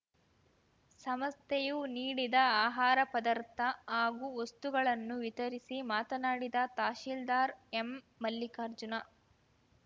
ಸಂಸ್ಥೆಯು ನೀಡಿದ ಆಹಾರ ಪದಾರ್ಥ ಹಾಗೂ ವಸ್ತುಗಳನ್ನು ವಿತರಿಸಿ ಮಾತನಾಡಿದ ತಹಸೀಲ್ದಾರ್‌ ಎಂಮಲ್ಲಿಕಾರ್ಜುನ